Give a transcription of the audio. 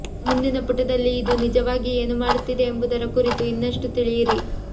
ಮುಂದಿನ ಪುಟದಲ್ಲಿ ಇದು ನಿಜವಾಗಿ ಏನು ಮಾಡುತ್ತಿದೆ ಎಂಬುದರ ಕುರಿತು ಇನ್ನಷ್ಟು ತಿಳಿಯಿರಿ